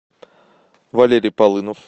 валерий полынов